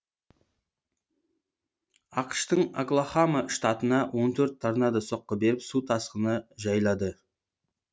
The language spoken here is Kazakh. ақш тың оклахома штатына он төрт торнадо соққы беріп су тасқыны жайлады